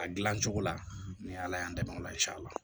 A gilan cogo la ni ala y'an dɛmɛ ola la